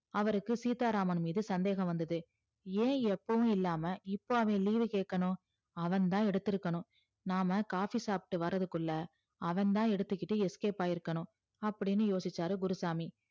அவருக்கு சீத்தா ராமன் மீது சந்தேகம் வந்தது ஏன் எப்பவும் இல்லாம இப்ப அவ leave வு கேக்கணும் அவன்தா எடுத்து இருக்கணும் நாம coffee சாப்டு வரதுக்குள்ள அவன்தா எடுத்துகிட்டு escape ஆகிருக்கணும் அப்டின்னு யோசிச்சாரு குருசாமி